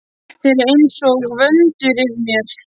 Þeir eru einsog vöndur yfir mér.